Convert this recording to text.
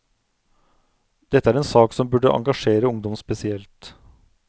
Dette er en sak som burde engasjere ungdom spesielt.